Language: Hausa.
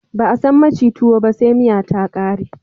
Ba a san maci tuwo ba se miya ta ƙare